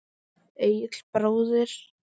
Egill bróðir.